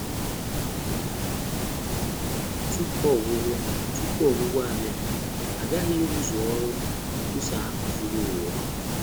Tupu ọgwụgwụ Tupu ọgwụgwụ abịa, a ghaghị ịrụzu ọrụ nkwusa ahụ zuru ụwa ọnụ.